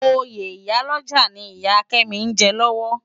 Óyé iyá lòjá ni Iyá Kemi n jè lòwò